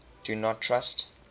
do not trust